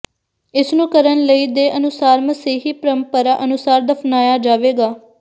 ਇਸ ਨੂੰ ਕਰਨ ਲਈ ਦੇ ਅਨੁਸਾਰ ਮਸੀਹੀ ਪਰੰਪਰਾ ਅਨੁਸਾਰ ਦਫ਼ਨਾਇਆ ਜਾਵੇਗਾ